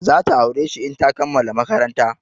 Za ta aure shi in ta kammala maƙaranta.